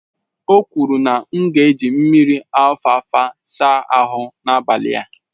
O kwuru na m ga-eji mmiri alfalfa saa ahu n'abalị a